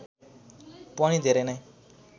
पनि धेरै नै